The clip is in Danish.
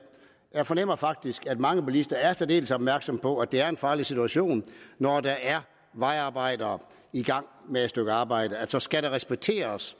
jeg fornemmer faktisk at mange bilister er særdeles opmærksom på at det er en farlig situation når der er vejarbejdere i gang med et stykke arbejde og så skal det respekteres